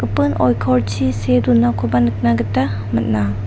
oikorchi see donakoba nikna gita man·a.